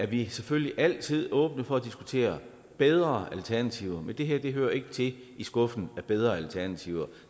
vi er selvfølgelig altid åbne for at diskutere bedre alternativer men det her hører ikke til i skuffen med bedre alternativer